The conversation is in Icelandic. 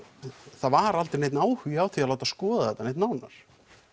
það var aldrei neinn áhugi á því að láta skoða þetta neitt nánar